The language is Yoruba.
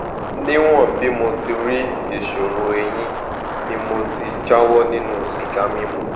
níwọn bí mo ti rí ìṣòro èyin mi mo ti jáwó nínú sìgá mímu